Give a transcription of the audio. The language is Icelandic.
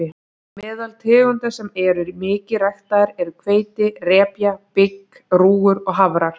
Meðal tegunda sem eru mikið ræktaðar eru hveiti, repja, bygg, rúgur og hafrar.